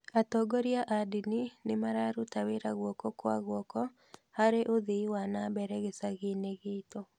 Atongoria a dini nĩmararũta wĩra guoko kwa guoko harĩ uthii wa nambere gĩcagi-inĩ gitũ